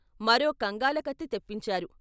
మరో కంగాల కత్తి తెప్పించారు.